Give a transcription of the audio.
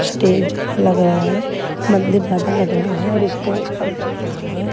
Stage ज्यादा लग रहा है मंदिर ज्यादा लग रहा है और स्टेज कम लग रहा है।